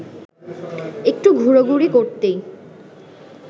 একটু ঘোরাঘুরি করতেই